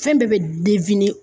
Fɛn bɛɛ bɛ